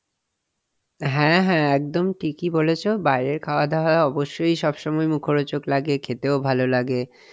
হ্যাঁ হ্যাঁ একদম ঠিকই বলেছ বাইরের খাওয়া-দাওয়া অবশ্যই সব সময় মুখরোচক লাগে খেতেও ভালো লাগে,